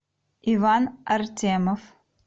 иван артемов